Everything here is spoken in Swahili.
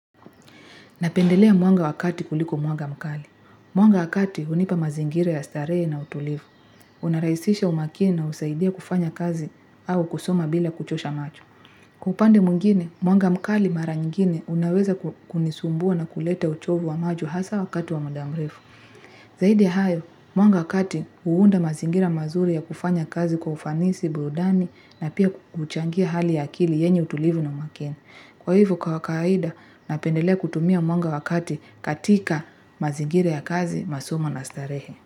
Napendelea mwanga wa kati kuliko mwanga mkali. Mwanga wa kati hunipa mazingira ya starehe na utulivu. Unarahisisha umakini na husaidia kufanya kazi au kusoma bila kuchosha machu. Kwa upande mwingine, mwanga mkali mara nyingine unaweza kunisumbua na kuleta uchovu wa macho hasa wakati wa muda mrefu. Zaidi ya hayo, mwanga wa kati huunda mazingira mazuri ya kufanya kazi kwa ufanisi, burudani na pia kuchangia hali ya akili yenye utulivu na makini. Kwa hivo kawa kaida, napendelea kutumia mwanga wa kati katika mazingira ya kazi, masomo na starehe.